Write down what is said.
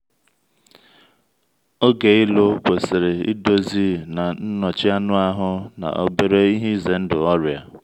oge ịlụ kwesịrị idozi na nnọchi anụ ahụ na obere ihe ize ndụ ọrịa.